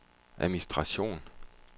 administration